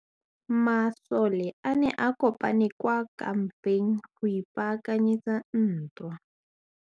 Masole a ne a kopane kwa kampeng go ipaakanyetsa ntwa.